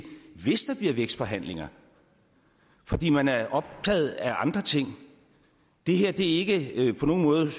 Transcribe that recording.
hvis der bliver vækstforhandlinger fordi man er optaget af andre ting det her er ikke på nogen måde